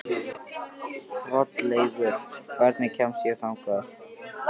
Hrolleifur, hvernig kemst ég þangað?